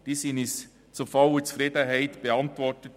Diese wurden uns zur vollen Zufriedenheit beantwortet.